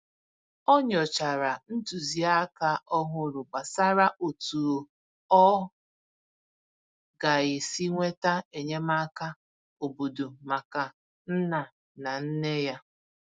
Ọ nyochàrà ntụziaka òhùrù gbasàrà otú ọ ga-esi enweta enyémàkà óbọ̀dò maka nna na nne ya.